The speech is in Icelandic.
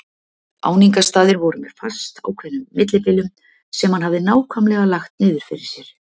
Áningarstaðir voru með fastákveðnum millibilum sem hann hafði nákvæmlega lagt niður fyrir sér.